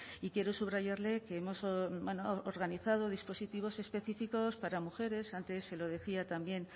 y quiero subrayarle que hemos organizado dispositivos específicos para mujeres antes se lo decía también